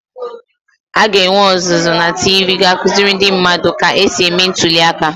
a ga-enwe ọzụzụ na TV ga-akụziri ndị mmadụ ka e si eme ntuli aka